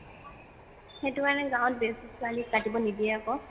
সেইটো কাৰণে গাওঁত বেচি ছোৱালি কাটিব নিদিয়ে আকৌ